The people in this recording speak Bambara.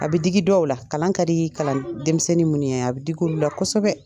A bɛ digi dɔw la, kalan ka di kalan denmisɛnnin mun ye, a bi dig'olu la kosɛbɛ.